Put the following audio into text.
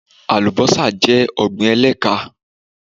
Alubọ́sá jẹ́ ọ̀gbín ẹ̀lẹ́kán